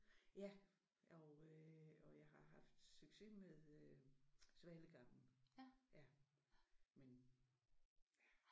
Ja og øh og jeg har haft succes med øh Svalegangen ja men